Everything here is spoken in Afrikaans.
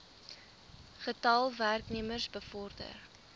getal werknemers bevorder